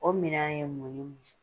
O minan ye mun ni mun ye.